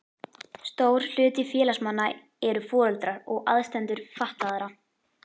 Stór hluti félagsmanna eru foreldrar og aðstandendur fatlaðra.